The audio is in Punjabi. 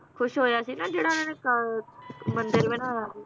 ਖੁਸ਼ ਹੋਇਆ ਸੀ ਨਾ ਜਿਹੜਾ ਇਹਨੇ ਕਾ~ ਮੰਦਿਰ ਬਣਾਇਆ ਸੀ